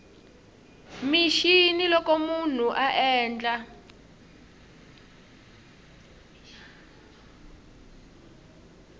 mixini loko munhu a endla